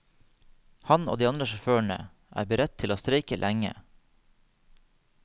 Han og de andre sjåførene er beredt til å streike lenge.